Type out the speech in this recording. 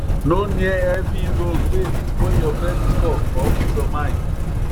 no near heavy loan wey fit spoil your credit score or peace of mind